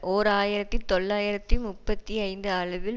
ஓர் ஆயிரத்தி தொள்ளாயிரத்தி முப்பத்தி ஐந்து அளவில்